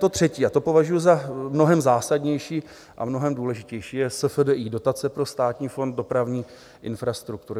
To třetí, a to považuji za mnohem zásadnější a mnohem důležitější, je SFDI, dotace pro Státní fond dopravní infrastruktury.